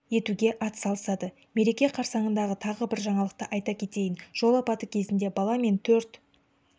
етуге атсалысады мереке қарсаңындағы тағы бір жаңалықты айта кетейін жол апаты кезінде бала мен төрт